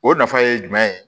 O nafa ye jumɛn ye